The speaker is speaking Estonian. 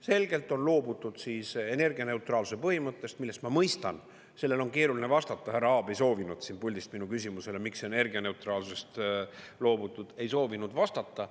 Selgelt on loobutud siis energianeutraalsuse põhimõttest, millest ma mõistan, sellele on keeruline vastata, härra Aab soovinud siin puldis minu küsimusele, miks energianeutraalsusest loobutud, vastata.